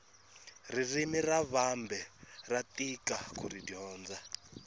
ririmi ra vambe ra tika kuri dyondza